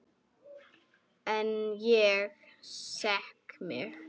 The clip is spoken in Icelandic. En ég skek mig.